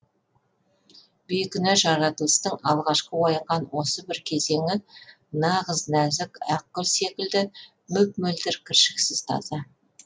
бейкүнә жаратылыстың алғашқы оянған осы бір кезеңі нағыз нәзік ақ гүл секілді мөп мөлдір кіршіксіз таза